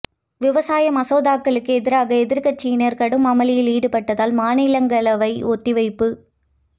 விவசாய மசோதாக்களுக்கு எதிராக எதிர்க்கட்சியினர் கடும் அமளியில் ஈடுபட்டதால் மாநிலங்களவை ஒத்திவைப்பு